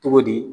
Cogo di